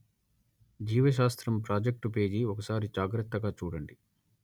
జీవ శాస్త్రం project page ఒకసారి జాగ్రత్తగా చూడండి